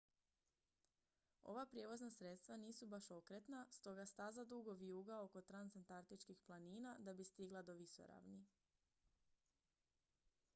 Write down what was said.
ova prijevozna sredstva nisu baš okretna stoga staza dugo vijuga oko transantarktičkih planina da bi stigla do visoravni